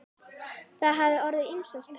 Það hafa orðið ýmsar tafir.